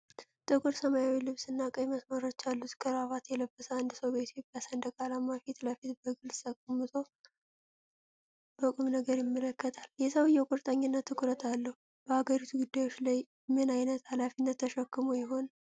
ጥቁር ሰማያዊ ልብስና ቀይ መስመሮች ያሉት ክራቫት የለበሰ አንድ ሰው በኢትዮጵያ ሰንደቅ ዓላማ ፊት ለፊት በግልጽ ተቀምጦ በቁም ነገር ይመለከታል። የሰውዬው ቁርጠኝነትና ትኩረት አለው። በሀገሪቱ ጉዳዮች ላይ ምን ዓይነት ሃላፊነት ተሸክሞ ይሆን?